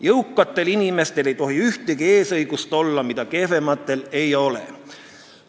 Jõukatel inimestel ei tohi ühtegi eesõigust olla, mida kehvematel ei ole.